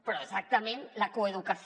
però exactament la coeducació